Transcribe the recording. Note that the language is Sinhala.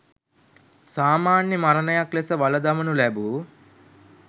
සාමාන්‍ය මරණයක් ලෙස වළදමනු ලැබූ